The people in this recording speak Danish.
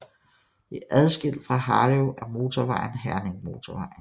Det er adskilt fra Harlev af motorvejen Herningmotorvejen